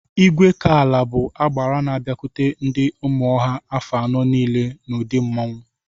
Igwekala bụ agbara n'abiakwute ndị Ụmụnọha afọ anọ niile n'ụdị mmanwụ.